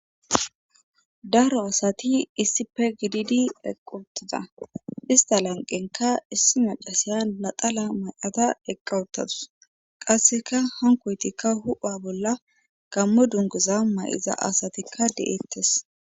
daro asati issipe gididi eqi utida ista lanqenka issi macasiya naxala mayada eqqa uttadus qasseka hankoytikka hu'a bolla gammo dunguza may7za asatikka de'eettes